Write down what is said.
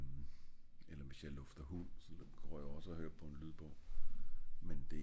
eller hvis jeg lufter hund så går jeg også og høre på en lydbog men det er